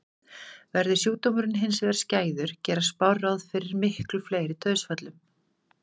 Verði sjúkdómurinn hins vegar skæður gera spár ráð fyrir miklu fleiri dauðsföllum.